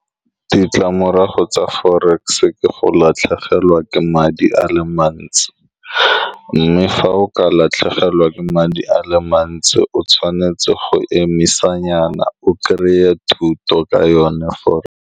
Ditlamorago tsa forex ke go latlhegelwa ke madi a le mantsi, mme fa o ka latlhegelwa ke madi a le mantsi, o tshwanetse go emisanyana, o krey-e thuto ka yone .